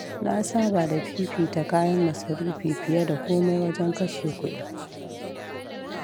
Na saba da fiifita kayan masarufi fiye da komai wajen kashe kuɗi.